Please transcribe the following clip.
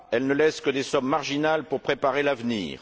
Elle ne laisse que des sommes marginales pour préparer l'avenir.